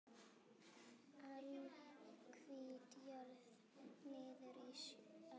Alhvít jörð niður að sjó.